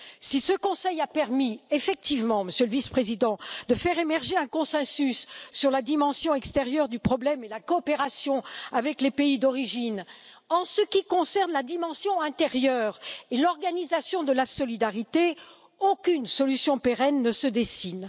Si ce Conseil a permis effectivement, Monsieur le Vice président, de faire émerger un consensus sur la dimension extérieure du problème et la coopération avec les pays d'origine, en ce qui concerne la dimension intérieure et l'organisation de la solidarité, aucune solution pérenne ne se dessine.